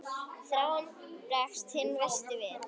Þráinn bregst hinn versti við.